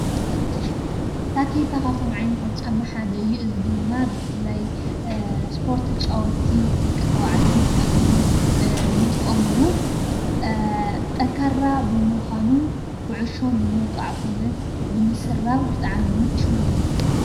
ታኬታ ካብቶም ዓይነታት ጫማ ሓደ እዩ፡፡ እዚ ድማ ብፍላይ ስፖርት ተጫወትቲ ደቂ ተባዕትዮን ደቂ ኣነስትዮን ይጥቀሙሉ፡፡ ጠንካራ ብምዃኑ ኩዕሾ ንምውቃዕ ኾነ ንምስራብ ብጣዕሚ ምችዊ እዩ፡፡